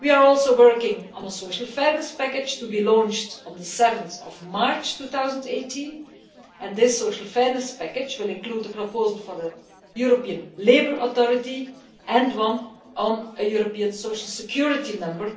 We are also working on a social fairness package, to be launched on 7 March 2018. This social fairness package will include a proposal for a European labour authority and one on a European social security number,